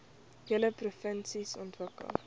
hele provinsie ontwikkel